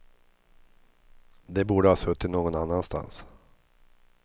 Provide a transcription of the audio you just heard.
De borde ha suttit någon annanstans.